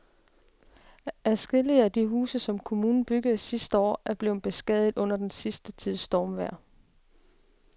Adskillige af de huse, som kommunen byggede sidste år, er blevet beskadiget under den sidste tids stormvejr.